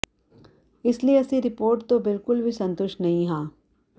ਇਸ ਲਈ ਅਸੀਂ ਰਿਪੋਰਟ ਤੋਂ ਬਿਲਕੁਲ ਵੀ ਸੰਤੁਸ਼ਟ ਨਹੀਂ ਹਾਂ